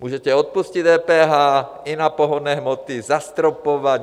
Můžete odpustit DPH i na pohonné hmoty, zastropovat.